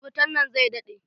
Wutan nan zai daɗe.